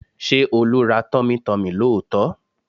Ṣé Olú ra tummytummy lóòótọ́?